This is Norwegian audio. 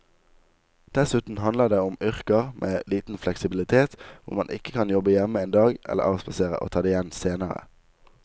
Dessuten handler det om yrker med liten fleksibilitet hvor man ikke kan jobbe hjemme en dag eller avspasere og ta det igjen senere.